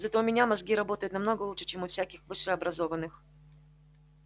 зато у меня мозги работают намного лучше чем у всяких высшеобразованных